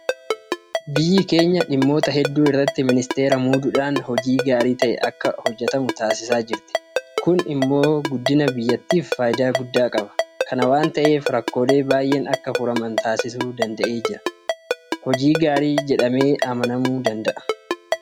Biyyi keenya dhimmoota hedduu irratti miniisteera muuduudhaan hojiin gaarii ta'e akka hojjetamu taasisaa jirti. Kun immoo guddina biyyaatiif faayidaa guddaa qaba. Kana waanta ta'eef rakkoolee baay'een akka furaman taasisuu danda'eera waanta ta'eef hojii gaariidha jedhamee amanama.